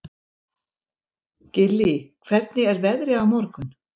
Gillý, hvernig er veðrið á morgun?